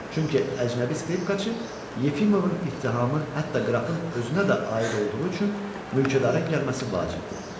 Çünki əcnəbi skripkaçı, Yefimovun ittihamı hətta qrafın özünə də aid olduğu üçün mülkədarın gəlməsi vacibdir.